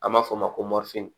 An b'a fɔ o ma ko